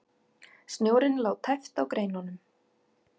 Snjórinn lá tæpt á greinunum.